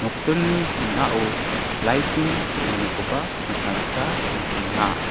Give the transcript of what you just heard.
kutturini ning·ao light-ni teng·anikoba nikna gita man·enga.